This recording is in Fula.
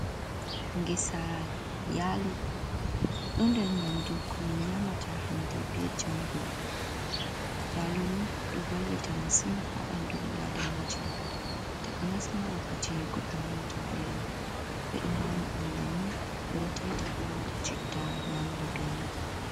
Ngesa yaalo! Ɗon nder nƴamdu ko min nƴaamata hande bee jango. Yaalo ni ɗo vallita masin haa ɓandu ɓii adamajo, takanas ma wakkati goɗɗo nanata veelo. Ɓe ɗo nƴama ɗum bannin, ɓe ɗo taita bo waata citta nƴaamira bee man.